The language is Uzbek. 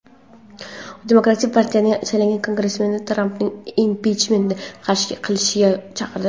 Demokratik partiyadan saylangan kongressmenlar Trampni impichment qilishga chaqirdi.